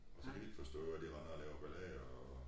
Og så kan de ikke forstå at de render og laver ballade og